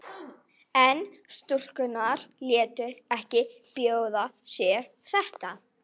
En stúlkurnar létu ekki bjóða sér þetta.